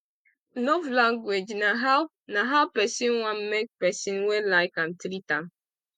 love language na how na how pesin want make pesin wey like am treat am